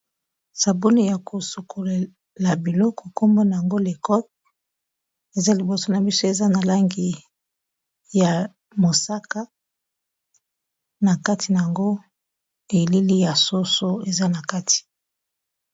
sabuni ya kosukolela biloko kombona yango lecoke eza liboso na biso eza na langi ya mosaka na kati na yango elili ya soso eza na kati